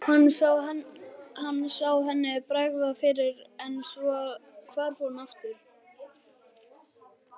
Hann sá henni bregða fyrir en svo hvarf hún aftur.